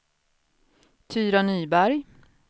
Tyra Nyberg